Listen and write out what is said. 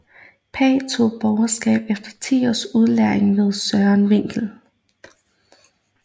Pagh tog borgerskab efter 10 års udlæring ved Søren Winkel